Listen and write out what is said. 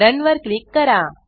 run वर click करा